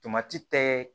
Tomati tɛ